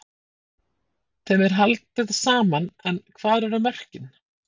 Þeim er haldið saman en hvar eru mörkin?